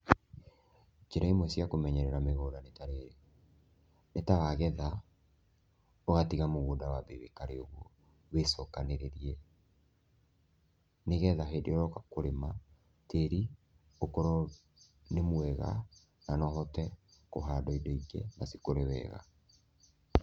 Njĩra imwe cia kũmenyerera mĩgũnda nĩ tarĩrĩ, nĩ ta wagetha ũgatiga mũgũnda wĩikare ũguo, wĩcokanĩrĩrie, nĩgetha hĩndĩ ĩrĩa ũroka kũrĩma tĩri ũkorwo nĩ mwega na no ũhote kũhandwo indo ingĩ na cikũre wega.